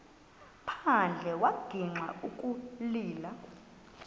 phandle wagixa ukulila